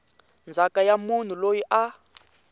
ndzhaka ya munhu loyi a